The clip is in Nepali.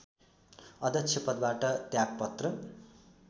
अध्यक्ष पदबाट त्यागपत्र